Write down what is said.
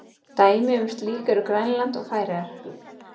Dæmi um slíkt eru Grænland og Færeyjar.